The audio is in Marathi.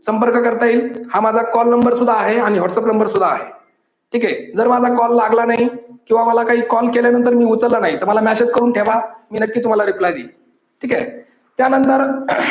संपर्क करता येईल हा माझा कॉल नंबर सुद्धा आहे आणि व्हाट्सअप नंबर सुद्धा आहे. ठीके. जर माझा कॉल लागला नाही किंवा मला कॉल केल्यानंतर मी उचलला नाही तर मला मेसेज करून ठेवा मी नक्कीच तुम्हाला reply देईल. ठीके. त्यानंतर